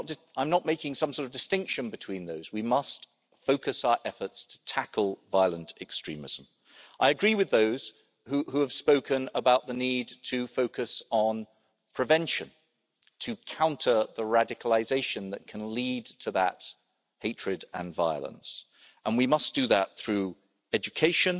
I'm not making some sort of distinction between those we must focus our efforts to tackle violent extremism. I agree with those who have spoken about the need to focus on prevention, to counter the radicalisation that can lead to that hatred and violence, and we must do that through education